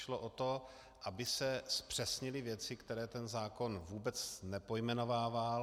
Šlo o to, aby se zpřesnily věci, které ten zákon vůbec nepojmenovával.